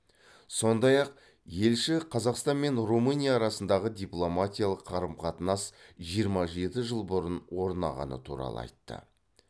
сондай ақ елші қазақстан мен румыния арасындағы дипломатиялық қарым қатынас жиырма жеті жыл бұрын орнағаны туралы айтты